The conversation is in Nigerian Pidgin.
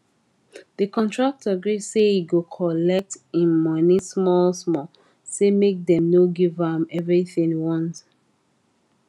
the contractor gree say he go collect him money small small say make dem no give am everythin once